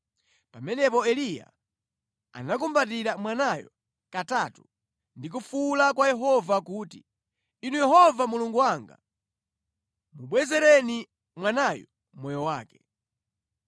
Pamenepo Eliya anakumbatira mwanayo katatu ndi kufuwula kwa Yehova kuti, “Inu Yehova Mulungu wanga, mubwezereni mwanayu moyo wake!”